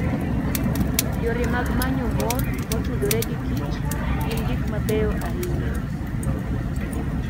Yore mag manyo mor motudore gi kich gin gik mabeyo ahinya.